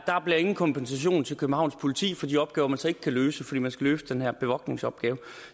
der bliver ingen kompensation til københavns politi for de opgaver man så ikke kan løse fordi man skal løse den her bevogtningsopgave